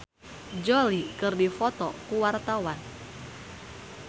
Soimah jeung Angelina Jolie keur dipoto ku wartawan